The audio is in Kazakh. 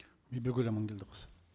бибігүл аманкелдіқызы